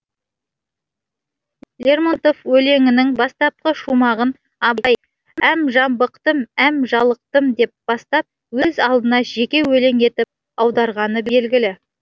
лермонтов өлеңінің бастапқы шумағын абай әм жабықтым әм жалықтым деп бастап өз алдына жеке өлең етіп аударғаны белгілі